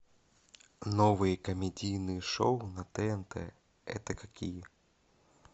новые комедийные шоу на тнт это какие